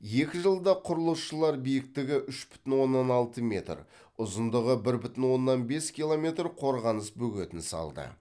екі жылда құрылысшылар биіктігі үш бүтін оннан алты метр ұзындығы бір бүтін оннан бес километр қорғаныс бөгетін салды